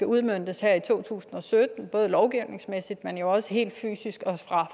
udmøntes her i to tusind og sytten både lovgivningsmæssigt men jo også helt fysisk og fra